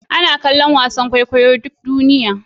Ana kallon wasan kwaikwayon kwaikwayo duk duniya